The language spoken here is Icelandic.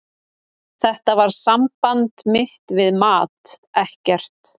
Þetta var samband mitt við mat, ekkert.